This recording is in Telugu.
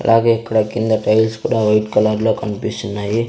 అలాగే ఇక్కడ కింద టైల్స్ కూడా వైట్ కలర్లో కన్పిస్తున్నాయి.